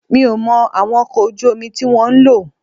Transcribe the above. Mi ò mọ àwọn ọkọ̀ ojú omi tí wọ́n ń lò